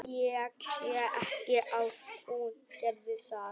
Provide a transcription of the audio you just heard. Ég sé ekki að hún geri það.